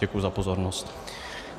Děkuji za pozornost.